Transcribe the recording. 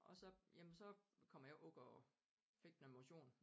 Og så jamen så kommer jeg ikke ud og fik noget motion